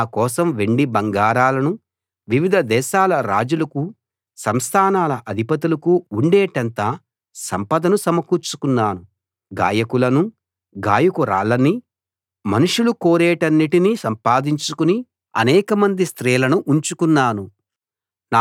నా కోసం వెండి బంగారాలను వివిధ దేశాల రాజులకు సంస్థానాల అధిపతులకు ఉండేటంత సంపదను సమకూర్చుకున్నాను గాయకులనూ గాయకురాళ్ళనీ మనుషులు కోరేవాటన్నిటినీ సంపాదించుకుని అనేకమంది స్త్రీలనూ ఉంచుకున్నాను